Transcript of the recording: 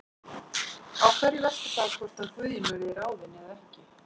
Á hverju veltur það hvort að Guðjón verði ráðinn eða ekki?